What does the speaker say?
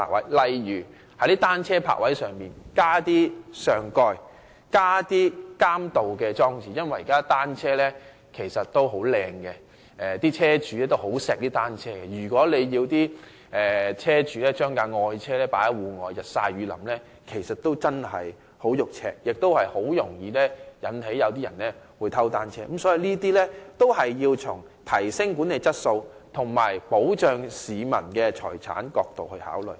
舉例來說，當局可在單車泊位加設上蓋和監盜裝置，因為現時單車的質素很好，車主也很愛惜單車，如果要車主把愛車放在戶外日曬雨淋，他們感到很心痛，亦容易吸引別人偷單車，所以當局要從提升管理質素及保障市民財產的角度來考慮。